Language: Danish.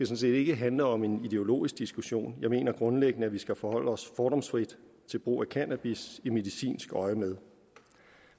set ikke handle om en ideologisk diskussion jeg mener grundlæggende at vi skal forholde os fordomsfrit til brug af cannabis i medicinsk øjemed